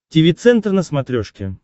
тиви центр на смотрешке